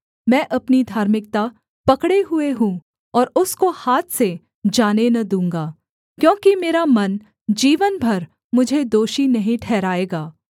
मैं अपनी धार्मिकता पकड़े हुए हूँ और उसको हाथ से जाने न दूँगा क्योंकि मेरा मन जीवन भर मुझे दोषी नहीं ठहराएगा